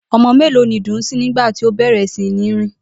O̩mo̩ os̩ù mélòó ni Dùnńsín nígbà tí ó bè̩rè̩ sí ní rìn?